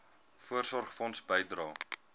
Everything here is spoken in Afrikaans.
voorsorgfonds bydrae